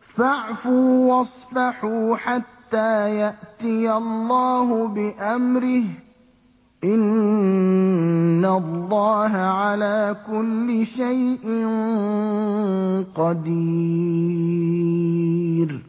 فَاعْفُوا وَاصْفَحُوا حَتَّىٰ يَأْتِيَ اللَّهُ بِأَمْرِهِ ۗ إِنَّ اللَّهَ عَلَىٰ كُلِّ شَيْءٍ قَدِيرٌ